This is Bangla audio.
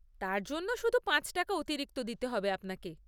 তার জন্য শুধু পাঁচ টাকা অতিরিক্ত দিতে হবে আপনাকে।